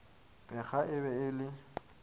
pheega e be e le